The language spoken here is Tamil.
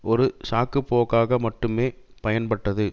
ஒரு சாக்கு போக்காக மட்டுமே பயன்பட்டது